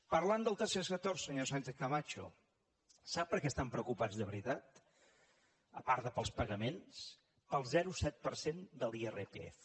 parlant del tercer sector senyora sánchez camacho sap per què estan preocupats de veritat a part dels pagaments pel zero coma set per cent de l’irpf